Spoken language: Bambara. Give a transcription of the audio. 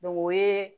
o ye